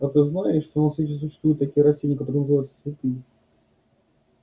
а ты знаешь что на свете существуют такие растения которые называются цветы